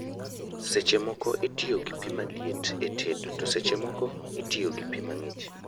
Seche moko atiyo gi pii maliet e tedo to seche moko atiyo gi pii mang'ich